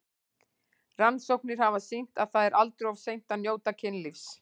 Rannsóknir hafa sýnt að það er aldrei of seint að njóta kynlífs.